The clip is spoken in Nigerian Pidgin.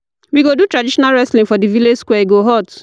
We go do traditional wrestling today for di village square, e go hot.